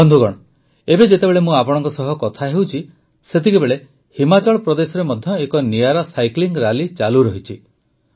ବନ୍ଧୁଗଣ ଏବେ ଯେତେବେଳେ ମୁଁ ଆପଣଙ୍କ ସହ କଥା ହେଉଛି ସେତେବେଳେ ହିମାଚଳ ପ୍ରଦେଶରେ ମଧ୍ୟ ଏକ ନିଆରା ସାଇକ୍ଲିଂ ରାଲି ଚାଲୁରହିଛି